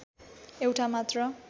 एउटा मात्र